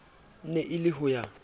ne e le ho ya